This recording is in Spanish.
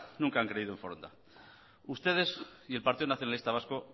nunca han creído en foronda ustedes y el partido nacionalista vasco